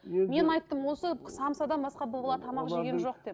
мен айттым осы самсадан басқа бұл бала тамақ жеген жоқ деп